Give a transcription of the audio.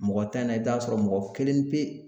Mɔgɔ tan in na i bɛ t'a sɔrɔ mɔgɔ kelen pe